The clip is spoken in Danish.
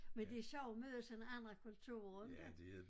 Men det er sjovt møde sådan andre kulturer inte